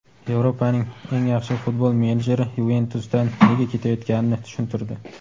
Yevropaning eng yaxshi futbol menejeri "Yuventus"dan nega ketayotganini tushuntirdi.